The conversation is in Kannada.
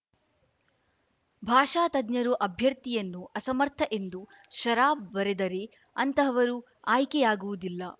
ಭಾಷಾ ತಜ್ಞರು ಅಭ್ಯರ್ಥಿಯನ್ನು ಅಸಮರ್ಥ ಎಂದು ಷರಾ ಬರೆದರೆ ಅಂತಹವರು ಆಯ್ಕೆಯಾಗುವುದಿಲ್ಲ